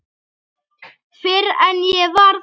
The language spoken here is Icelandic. Fyrr en ég varð það.